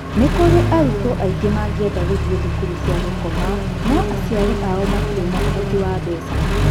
Nĩ kũrĩ arutwo aingĩ mangĩenda gũthiĩ thukuru cia gũkoma no-aciari ao matirĩ na ũhoti wa mbeca.